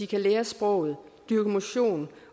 kan lære sproget dyrke motion